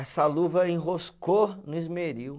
Essa luva enroscou no esmeril.